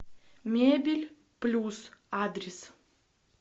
мебель плюс адрес